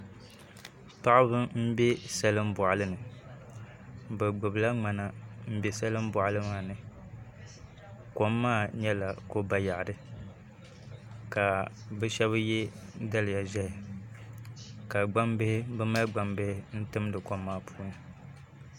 Paɣaba n bɛ salin boɣali ni bi gbubila ŋmana n bɛ salin boɣali maa ni kom maa nyɛla ko bayaɣati ka bi shab yɛ daliya ʒiɛhi ka bi mali gbambihi n timdi kom maa puuni